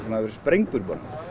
hafi verið sprengdur